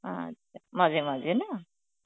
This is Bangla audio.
আচ্ছা, মাঝে মাঝে না?